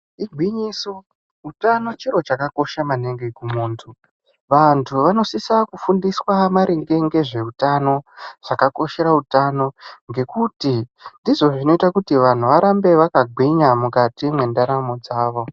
Igwinyiso utano chiro chakakosha maningi kumuntu. Vantu vanosisa kufundiswa maringe ngezveutano chakakoshera utano. Ngekuti ndozvo zvinota kuti vantu varambe vakagwinya mukati mwendaramo dzavo.